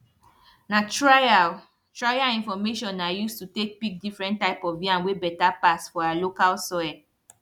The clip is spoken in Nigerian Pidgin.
na trial trial information i use to take pick different type of yam wey better pass for our local soil